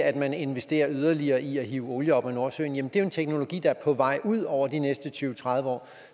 at man investerer yderligere i at hive olie op af nordsøen det er jo en teknologi der er på vej ud over de næste tyve til tredive år